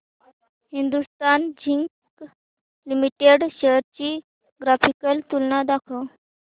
Hindustan zinc limited shares ची graphical तुलना दाखव